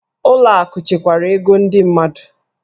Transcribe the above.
Ụlọ akụ chekwara ego ndị mmadụ.